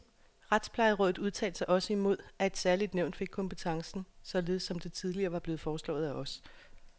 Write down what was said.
Retsplejerådet udtalte sig også imod, at et særligt nævn fik kompetencen, således som det tidligere var blevet foreslået af os.